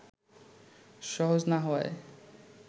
সহজ না হওয়ায়